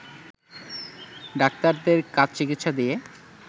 ডাক্তারদের কাজ চিকিৎসা দিয়ে